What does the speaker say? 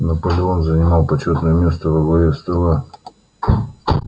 наполеон занимал почётное место во главе стола